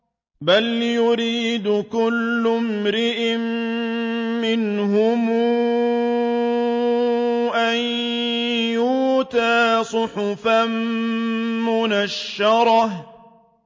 بَلْ يُرِيدُ كُلُّ امْرِئٍ مِّنْهُمْ أَن يُؤْتَىٰ صُحُفًا مُّنَشَّرَةً